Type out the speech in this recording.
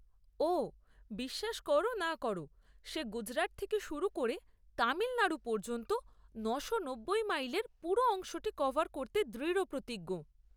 ওহ, বিশ্বাস কর না কর, সে গুজরাট থেকে শুরু করে তামিলনাড়ু পর্যন্ত নয়শো নব্বই মাইলের পুরো অংশটি কভার করতে দৃঢ়প্রতিজ্ঞ।